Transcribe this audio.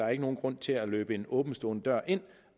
er nogen grund til at løbe en åbentstående dør ind